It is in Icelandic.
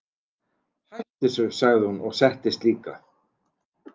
Hættu þessu, sagði hún og settist líka.